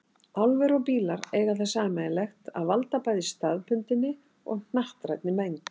Álver og bílar eiga það sameiginlegt að valda bæði staðbundinni og hnattrænni mengun.